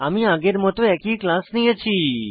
আমি আগের মত একই ক্লাস নিয়েছি